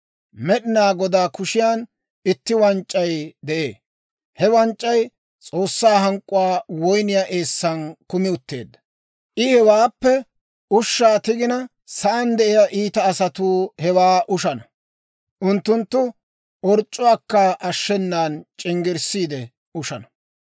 Med'inaa Godaa kushiyan itti wanc'c'ay de'ee; he wanc'c'ay S'oossaa hank'k'uwaa woyniyaa eessan kumi utteedda. I hewaappe ushshaa tigina, sa'aan de'iyaa iita asatuu hewaa ushana; unttunttu orc'c'uwaakka ashshenan c'inggisiide ushana.